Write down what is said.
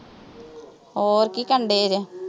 ਹੋਰ ਕੀ ਕਰਨ ਡੇ ਰਹੇ